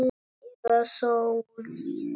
Eða sólin?